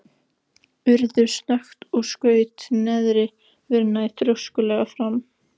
Urður snöggt og skaut neðri vörinni þrjóskulega fram.